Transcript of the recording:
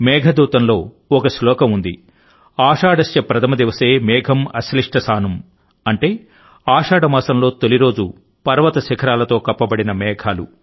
మేఘదూతంలో ఒక శ్లోకం ఉంది ఆషాఢస్య ప్రథమ దివసే మేఘమ్ ఆశ్లిష్ట సానుమ్ అంటే ఆషాఢ మాసంలో తొలిరోజు పర్వత శిఖరాలతో కప్పబడిన మేఘాలు